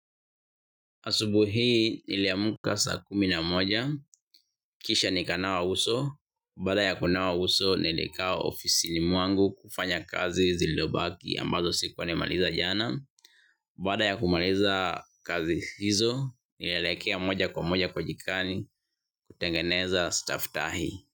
Asubuhi nili amka saa kumi na moja, kisha nika nawa uso, baada ya kunawa uso nilikaa ofisini mwangu kufanya kazi zilizobaki ambazo sikuwa nimemaliza jana, baada ya kumaliza kazi hizo nilielekea moja kwa moja kwa jikoni kutengeneza staftahi.